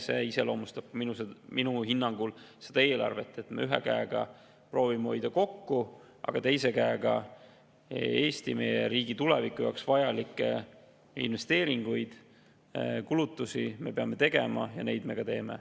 See iseloomustab minu hinnangul seda eelarvet, et ühe käega me proovime hoida kokku, aga teise käega peame tegema Eesti, meie riigi tuleviku jaoks vajalikke investeeringuid ja kulutusi, neid me ka teeme.